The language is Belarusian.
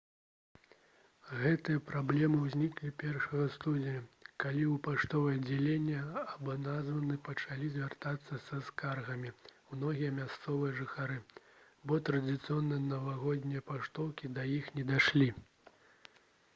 гэтая праблема ўзнікла 1 студзеня калі ў паштовае аддзяленне абанадзавы пачалі звяртацца са скаргамі многія мясцовыя жыхары бо традыцыйныя навагоднія паштоўкі да іх не дайшлі